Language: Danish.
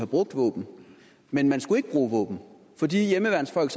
brugt våben men man skulle ikke bruge våben for de hjemmeværnsfolk